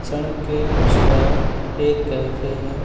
सड़क के उस पार एक कैफे है।